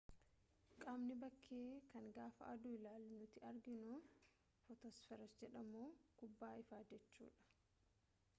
qaamni bakkee kan gaafa aduu ilaalu nuti arginu footosfeer jedhamu kubbaa ifaa jechuu dha